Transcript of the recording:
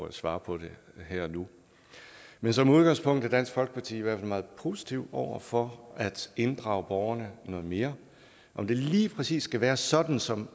at svare på det her og nu men som udgangspunkt er dansk folkeparti i hvert fald meget positive over for at inddrage borgerne noget mere om det lige præcis skal være sådan som